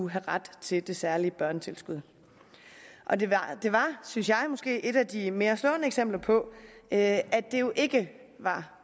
have ret til det særlige børnetilskud og det var synes jeg måske et af de mere slående eksempler på at det jo ikke var